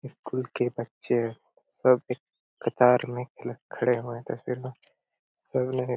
school के बच्चें है सब एक कतार में खड़े हुए तस्वीर में सब ने--